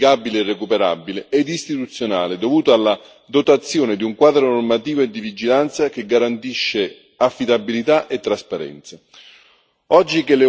anche facilmente quantificabile e recuperabile, ed istituzionale, dovuto alla dotazione di un quadro normativo e di vigilanza che garantisce affidabilità e trasparenza.